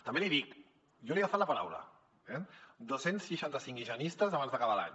també l’hi dic jo li he agafat la paraula eh dos cents i seixanta cinc higienistes abans d’acabar l’any